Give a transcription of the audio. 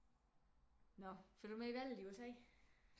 Nå følger du med i valget i USA